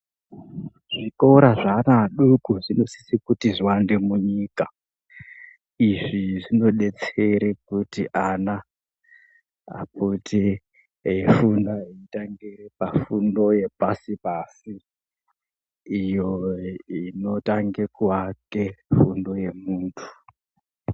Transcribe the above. Zvikora zveana adoko zvinosise kuti zviwande munyika izvi zvinodetsere kuti ana apote eifunda eitangire pafundo yepasi pasi iyo inotange kuake fundo yemuntu.